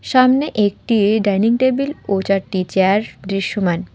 সামনে একটি dining table ও চারটি চেয়ার দৃশ্যমান।